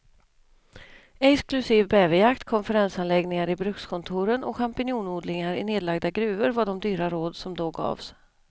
Exklusiv bäverjakt, konferensanläggningar i brukskontoren och champinjonodlingar i nedlagda gruvor var de dyra råd som då gavs.